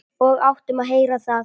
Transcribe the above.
Og áttum að heyra það.